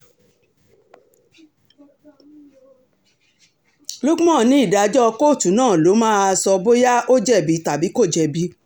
uckman ní ìdájọ́ kóòtù náà ló máa sọ bóyá ó jẹ̀bi tàbí kò jẹ̀bi